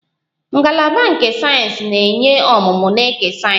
Ngalaba nke sayensị na-enye ọmụmụ na eke sayensị